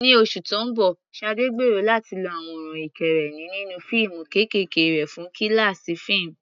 Ní oṣù tó ń bọ̀, Sade gbèrò láti lo àwòrán ìkẹ́rẹ́nì nínú fíìmù kéékèèké rẹ̀ fún kíláàsì fíìmù.